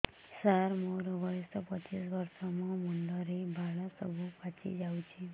ସାର ମୋର ବୟସ ପଚିଶି ବର୍ଷ ମୋ ମୁଣ୍ଡରେ ବାଳ ସବୁ ପାଚି ଯାଉଛି